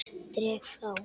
Dreg frá.